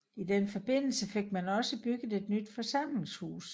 I den forbindelse fik man også bygget et nyt forsamlingshus